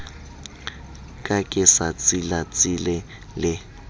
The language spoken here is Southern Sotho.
ka ke sa tsilatsile le